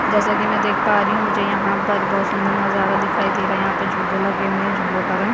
जैसा की मै देख पा रही हु मुझे यहाँ पर बहोत सुन्दर नज़ारा दिखाई दे रहा है यहाँ पर झूले लगे हुए है झूलो का रंग --